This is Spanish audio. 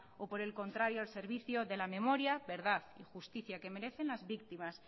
o por el contrario al servicio de la memoria verdad y justicia que merecen las víctimas